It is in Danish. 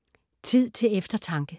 Tid til eftertanke